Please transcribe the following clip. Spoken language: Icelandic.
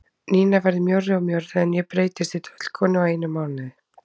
Nína verður mjórri og mjórri en ég breytist í tröllkonu á einum mánuði.